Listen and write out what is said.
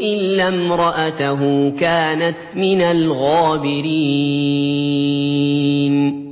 إِلَّا امْرَأَتَهُ كَانَتْ مِنَ الْغَابِرِينَ